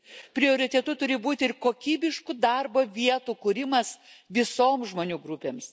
Prioritetu turi būti ir kokybiškų darbo vietų kūrimas visoms žmonių grupėms.